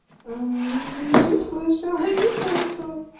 не слышала не слышала